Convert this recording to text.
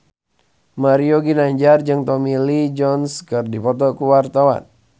Mario Ginanjar jeung Tommy Lee Jones keur dipoto ku wartawan